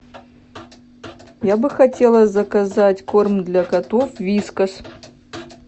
я бы хотела заказать корм для котов вискас